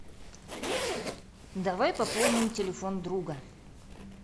давай пополним телефон друга